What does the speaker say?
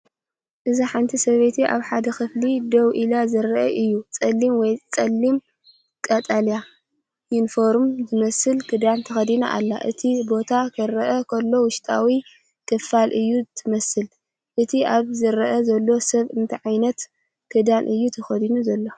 እዚ ሓንቲ ሰበይቲ ኣብ ሓደ ክፍሊ ደው ኢሉ ዘርኢ እዩ። ጸሊም ወይ ጸሊም ቀጠልያ፡ ዩኒፎርም ዝመስል ክዳን ተኸዲና ኣላ። እቲ ቦታ ክረአ ከሎ፡ውሽጣዊ ክፍሊ እያ ትመስል። እቲ ኣብዚ ዝረአ ዘሎ ሰብ እንታይ ዓይነት ክዳን እዩ ተኸዲኑ ዘሎ?